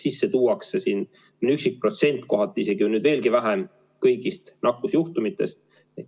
Sisse tuuakse mõni protsent, kohati nüüd isegi veelgi vähem kõigist nakkusjuhtumitest.